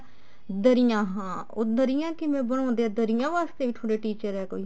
ਦਰੀਆਂ ਹਾਂ ਉਹ ਦਰੀਆਂ ਕਿਵੇਂ ਬਣਾਉਂਦੇ ਆ ਦਰੀਆਂ ਵਾਸਤੇ ਵੀ ਤੁਹਾਡੇ teacher ਐ ਕੋਈ